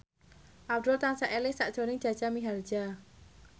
Abdul tansah eling sakjroning Jaja Mihardja